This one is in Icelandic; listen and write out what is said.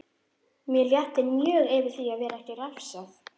Mér létti mjög yfir því að vera ekki refsað.